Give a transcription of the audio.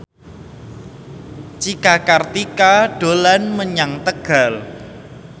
Cika Kartika dolan menyang Tegal